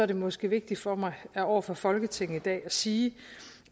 det måske vigtigt for mig over for folketinget i dag at sige